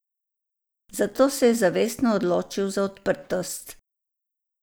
Zato se je zavestno odločil za odprtost.